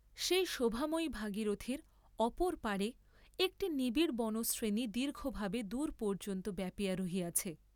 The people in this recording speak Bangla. সেই শোভাময়ী ভাগীরথীর অপর পারে একটি নিবিড় বনশ্রেণী দীর্ঘভাবে দূর পর্য্যন্ত ব্যাপিয়া রহিয়াছে।